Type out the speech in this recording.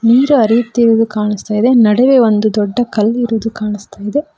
ನೀರು ಹರಿಯುತ್ತಿರುವುದು ಕಾಣಿಸ್ತಾ ಇದೆ ನಡುವೆ ಒಂದು ದೊಡ್ಡ ಕಲ್ಲು ಇರುವುದು ಕಾಣಿಸ್ತಾ ಇದೆ.